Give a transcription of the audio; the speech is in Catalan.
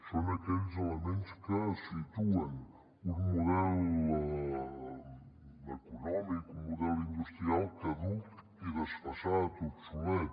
són aquells elements que situen un model econòmic un model industrial caduc i desfasat obsolet